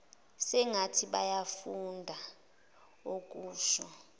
sengathi bayafunda okusho